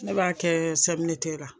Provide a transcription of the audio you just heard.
Ne b'a kɛɛ CMDT la